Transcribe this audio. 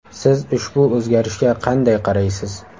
Siz ushbu o‘zgarishga qanday qaraysiz?